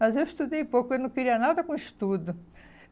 Mas eu estudei pouco, eu não queria nada com estudo.